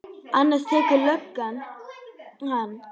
Annars tekur löggan hann.